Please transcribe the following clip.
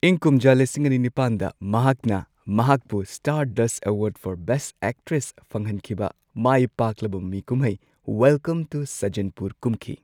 ꯏꯪ ꯀꯨꯝꯖꯥ ꯂꯤꯁꯤꯡ ꯑꯅꯤ ꯅꯤꯄꯥꯟꯗ ꯃꯍꯥꯛꯅ, ꯃꯍꯥꯛꯄꯨ Stardust award for best actress ꯐꯪꯍꯟꯈꯤꯕ, ꯃꯥꯏ ꯄꯥꯛꯂꯕ ꯃꯃꯤ ꯀꯨꯝꯍꯩ ꯋꯦꯜꯀꯝ ꯇꯨ ꯁꯖꯖꯟꯄꯨꯔ ꯀꯨꯝꯈꯤ꯫